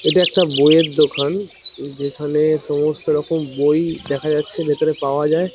এটা একটা বইয়ের দোকান। যেখানে সমস্ত রকম বই দেখা যাচ্ছে ভেতরে পাওয়া যায়।